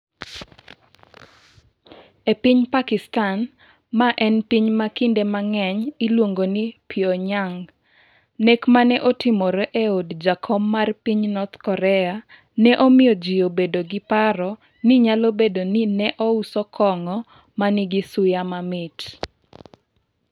E piny Pakistan, ma en piny ma kinde mang'eny iluongo ni Pyonyang, nek ma ne otimore e od jakom mar piny North Korea ne omiyo ji obedo gi paro ni nyalo bedo ni ne ouso kong'o ma nigi suya mamit.